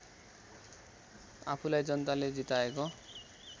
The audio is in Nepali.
आफूलाई जनताले जिताएको